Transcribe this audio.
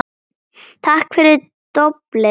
Takk fyrir doblið, Lárus minn